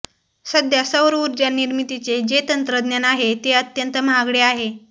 सध्या सौर ऊर्जा निर्मितीचे जे तंत्रज्ञान आहे ते अत्यंत महागडे आहे